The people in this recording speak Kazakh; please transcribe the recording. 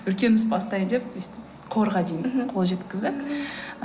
үлкен іс бастаймын деп өстіп қорға дейін қол жеткіздік мхм